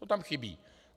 To tam chybí.